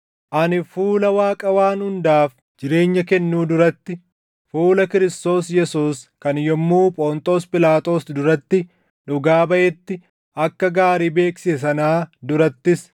Ani fuula Waaqa waan hundaaf jireenya kennuu duratti, fuula Kiristoos Yesuus kan yommuu Phonxoos Phiilaaxoos duratti dhugaa baʼetti akka gaarii beeksise sanaa durattis,